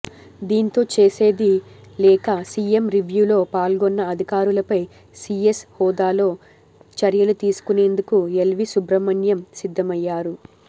దీంతో చేసేది లేక సీఎం రివ్యూల్లో పాల్గొన్న అధికారులపై సీఎస్ హోదాలో చర్యలు తీసుకునేందుకు ఎల్వీ సుబ్రహ్మణ్యం సిద్దమయ్యారు